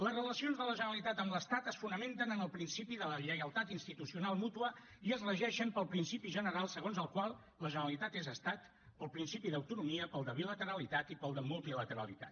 les relacions de la generalitat amb l’estat es fonamenten en el principi de la lleialtat institucional mútua i es regeixen pel principi general segons el qual la generalitat és estat pel principi d’autonomia pel de bilateralitat i pel de multilateralitat